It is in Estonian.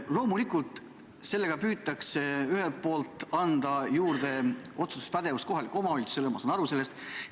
Loomulikult püütakse ühelt poolt anda kohalikule omavalitsusele juurde otsustuspädevust, ma saan sellest aru.